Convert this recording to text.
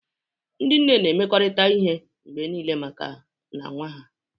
Ndị nne na-emekọrịta ihe mgbe niile maka ha na nwa ha.